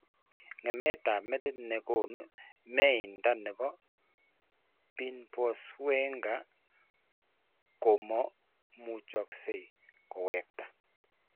Ng'emetap metit ne konu myenta ne po Binswanger komo muchokse kewekta.